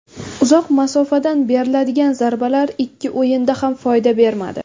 Uzoq masofadan beriladigan zarbalar ikki o‘yinda ham foyda bermadi.